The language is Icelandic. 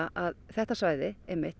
þetta svæði